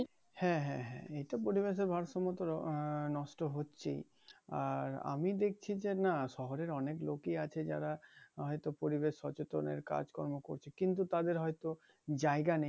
হ্যাঁ হ্যাঁ হ্যাঁ এইটা পরিবেশের ভারসাম্য তো আহ নষ্ট হচ্ছেই, আর আমি দেখছি যে নাহ শহরের অনেক লোকই আছে যারা অহেতুক পরিবেশ সচেতনের কাজ কর্ম করছে কিন্তু তারা তাদের হয়তো জায়গা নেই